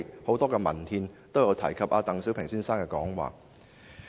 "很多文憲都有提及鄧小平先生的以上講話。